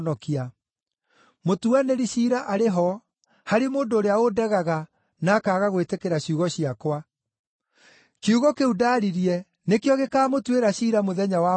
Mũtuanĩri ciira arĩ ho, harĩ mũndũ ũrĩa ũndegaga na akaaga gwĩtĩkĩra ciugo ciakwa; kiugo kĩu ndaaririe nĩkĩo gĩkaamũtuĩra ciira mũthenya wa mũthia.